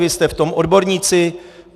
Vy jste v tom odborníci.